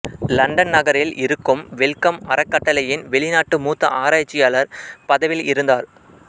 London நகரில் இருக்கும் Wellcome அறக்கட்டளையின் வெளிநாட்டு மூத்த ஆராய்ச்சியாளர் பதவியில் இருந்தார்